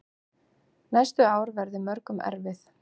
Næstu ár verði mörgum erfið.